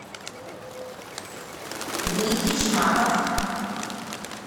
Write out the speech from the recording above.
дмитрий шмаков